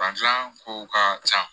Fan gilan kow ka ca